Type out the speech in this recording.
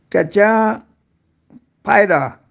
त्याच्या फायदा